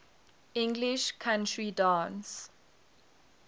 english country dance